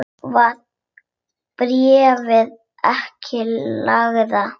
Var bréfið ekki lengra?